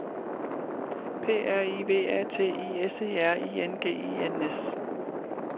P R I V A T I S E R I N G E N S